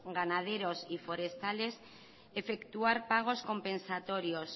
ganaderos y forestales efectuar pagos compensatorios